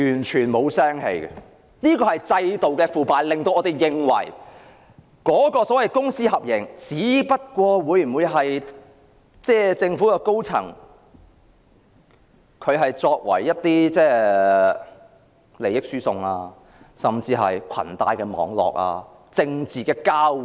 這便是制度的腐敗，令我們認為公私合營計劃只是政府高層的利益輸送，甚至裙帶網絡及政治交換。